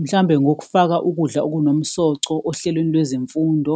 Mhlawumbe ngokufaka ukudla okunomsoco ohlelweni lwezemfundo,